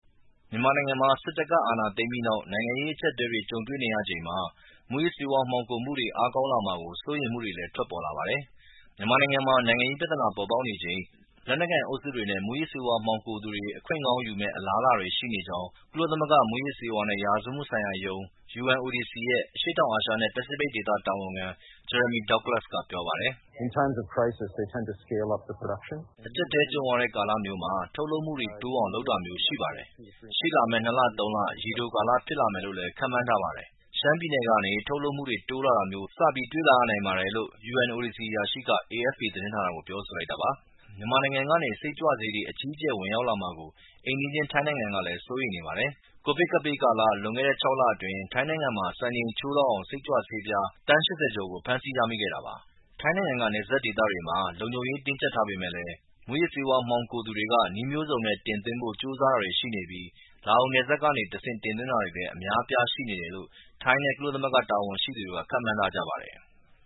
မြန်မာနိုင်ငံမှာ စစ်တပ်က အာဏာသိမ်းပြီးနောက် နိုင်ငံရေး အကျပ်အတည်းတွေ ကြုံနေရချိန်မှာ မူးယစ်ဆေးဝါး မှောင်ခိုမှုတွေ အားကောင်းလာမှာကို စိုးရိမ်မှုတွေလည်း ထွက်ပေါ်လာပါတယ်။ မြန်မာနိုင်ငံမှာ နိုင်ငံရေး ပြဿနာတွေ ပေါ်ပေါက်နေချိန် လက်နက်ကိုင် အုပ်စုတွေနဲ့ မူးယစ်ဆေးဝါး မှောင်ခိုသူတွေ အခွင့်ကောင်းယူမယ့် အလားအလာတွေ ရှိနေကြောင်း ကုလသမဂ္ဂ မူးယစ်ဆေးဝါးနဲ့ ရာဇဝတ်မှုဆိုင်ရာရုံး (UNODC) ရဲ့ အရှေ့တောင်အာရှနဲ့ ပစိဖိတ်ဒေသ တာဝန်ခံ Jeremy Douglas ကပြောပါတယ်။ “အကျပ်အတည်း ကြုံရတဲ့ ကာလမျိုးမှာ ထုတ်လုပ်မှုတွေ တိုးအောင် လုပ်တာမျိုးတွေ ရှိပါတယ်။ ရှေ့လာမယ့် ၂ လ ၃ လ၊ ရေတိုကာလမှာ ဖြစ်လာမယ်လို့လည်း ခန့်မှန်းပါတယ်။ ရှမ်းပြည်နယ်ကနေ ထုတ်လုပ်မှုတွေ တိုးလာတာမျိုး စပြီး တွေ့လာရနိုင်ပါတယ်။” လို့ UNODC အရာရှိက AFP သတင်းဌာနကို ပြောဆိုလိုက်တာပါ။ မြန်မာနိုင်ငံကနေ စိတ်ကြွဆေးတွေ အကြီးအကျယ် ဝင်ရောက်လာမှာကို အိမ်နီးချင်း ထိုင်းနိုင်ငံ ကလည်း စိုးရိမ်နေပါတယ်။ ကိုဗစ်ကပ်ဘေးကာလ လွန်ခဲ့တဲ့ ၆ လ အတွင်း ထိုင်းနိုင်ငံမှာ စံချိန်ချိုးလောက်အောင် စိတ်ကြွဆေးပြား သန်း ၈၀ ကျော် ဖမ်းဆီးမိခဲ့တာပါ။ ထိုင်းနိုင်ငံက နယ်စပ်ဒေသတွေမှာ လုံခြုံရေး တင်းကြပ်ထားပေမဲ့ မူးယစ်ဆေးဝါး မှောင်ခိုသူတွေက နည်းမျိုးစုံနဲ့ တင်သွင်းဖို့ ကြိုးစားတာတွေ ရှိနေပြီး၊ လာအိုနိုင်ငံနယ်စပ်ကနေ တင်သွင်းတာတွေလည်း အများအပြား ရှိနေတယ်လို့ ထိုင်းနဲ့ ကုလသမဂ္ဂ တာဝန်ရှိသူတွေကခန့်မှန်းထားကြပါတယ်။